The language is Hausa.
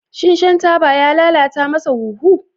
Shin shan taba ya lalata masa huhu?